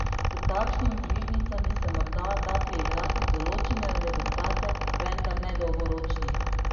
S takšnimi bližnjicami se morda da priigrati določene rezultate, vendar ne dolgoročnih.